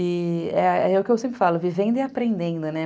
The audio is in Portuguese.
E é o que eu sempre falo, vivendo e aprendendo, né?